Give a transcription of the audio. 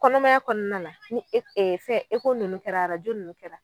Kɔnɔmanya kɔnɔna na ni fɛn ninnu kɛra ninnu kɛra,